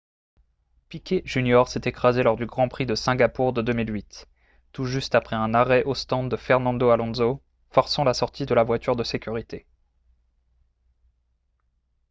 piquet jr s'est écrasé lors du grand prix de singapour de 2008 tout juste après un arrêt aux stands de fernando alonso forçant la sortie de la voiture de sécurité